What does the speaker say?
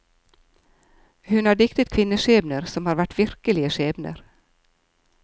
Hun har diktet kvinneskjebner som har vært virkelige skjebner.